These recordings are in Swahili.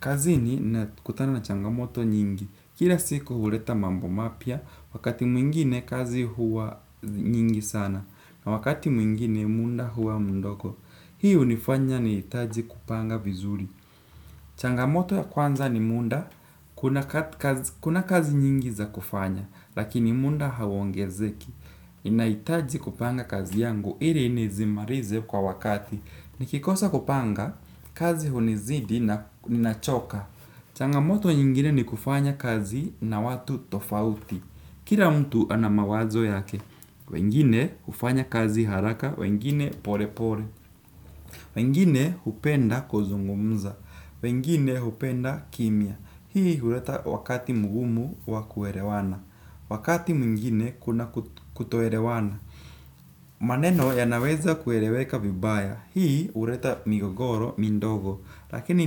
Kazi ninakutana na changamoto nyingi. Kila siku huleta mambo mapya, wakati mwingine kazi huwa nyingi sana, na wakati mwingine muda huwa mdogo. Hii hunifanya nihitaji kupanga vizuri. Changamoto ya kwanza ni muda, kuna kazi nyingi za kufanya, lakini muda hauongezeki. Inahitaji kupanga kazi yangu, ili nizimalize kwa wakati. Nikikosa kupanga, kazi hunizidi na nachoka. Changamoto nyingine ni kufanya kazi na watu tofauti. Kila mtu ana mawazo yake. Wengine hufanya kazi haraka, wengine pole pole. Wengine hupenda kuzungumza. Wengine hupenda kimya. Hii huleta wakati mgumu wa kuelewana. Wakati mwingine kuna kutoelewana. Maneno yanaweza kueleweka vibaya. Hii uleta migogoro, midogo. Lakini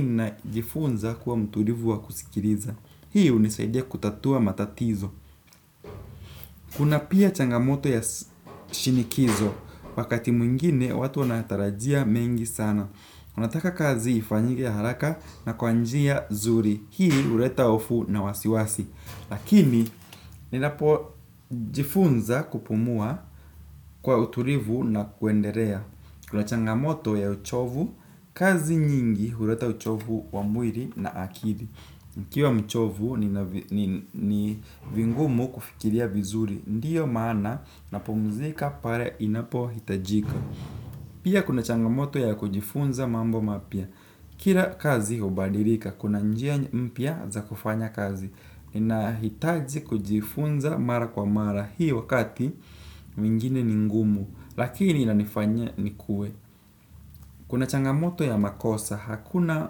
ninajifunza kuwa mtulivu wa kusikiliza. Hii hunisaidia kutatua matatizo. Kuna pia changamoto ya shinikizo. Wakati mwingine watu wanatarajia mengi sana. Unataka kazi ifanyike haraka na kwa njia zuri. Hii huleta hofu na wasiwasi. Lakini ninapojifunza kupumua kwa utulivu na kuendelea kuna changamoto ya uchovu, kazi nyingi huleta uchovu wa mwili na akili. Nikiwa mchovu ni vingumu kufikiria vizuri, ndiyo maana napumzika pale inapohitajika. Pia kuna changamoto ya kujifunza mambo mapya. Kila kazi hubadilika, kuna njia mpya za kufanya kazi. Ninahitaji kujifunza mara kwa mara. Hii wakati mwingine ni ngumu. Lakini inanifanya nikue. Kuna changamoto ya makosa. Hakuna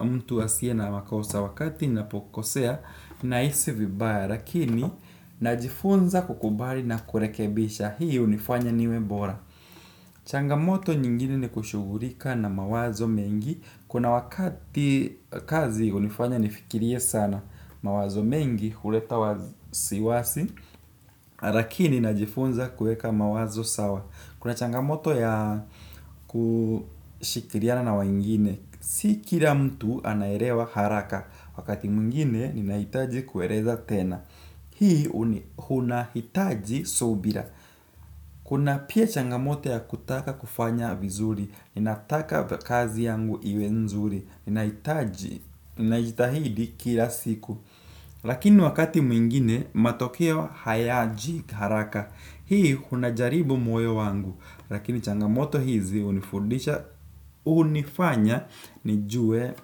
mtu asie na makosa wakati napokosea. Nahisi vibaya. Lakini najifunza kukubali na kurekebisha. Hii hunifanya niwe bora. Changamoto nyingine ni kushughulika na mawazo mengi. Kuna wakati kazi hunifanya nifikirie sana. Mawazo mengi huleta wasiwasi, lakini najifunza kueka mawazo sawa. Kuna changamoto ya kushikiriana na wengine. Si kila mtu anaelewa haraka, wakati mwingine ninahitaji kueleza tena. Hii unahitaji subira. Kuna pia changamoto ya kutaka kufanya vizuri, ninataka kazi yangu iwe nzuri, nahitaji najitahidi kila siku. Lakini wakati mwingine matokeo hayaji haraka. Hii unajaribu moyo wangu. Lakini changamoto hizi hunifundisha hunifanya nijue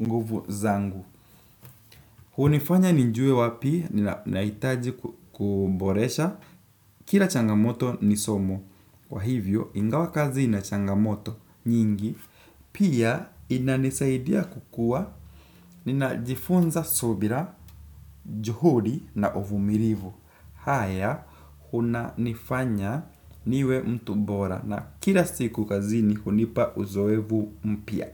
nguvu zangu. Hunifanya nijue wapi nahitaji kuboresha kila changamoto nisomo. Kwa hivyo ingawa kazi ina changamoto nyingi pia inanisaidia kukua ninajifunza subira, juhudi na uvumilivu. Haya unanifanya niwe mtu bora na kila siku kazini hunipa uzoevu mpya.